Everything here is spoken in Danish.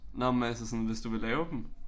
Nåh men altså sådan hvis du vil lave dem